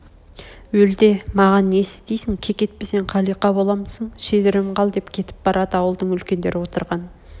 өлі де маған несі дейді кекетпесең қалиқа боламысың шедірем қал деп кетіп барады ауылдың үлкендері отырған